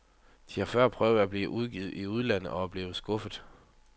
De har før prøvet at blive udgivet i udlandet og er blevet skuffet.